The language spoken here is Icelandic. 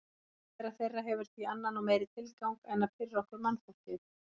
Tilvera þeirra hefur því annan og meiri tilgang en að pirra okkur mannfólkið.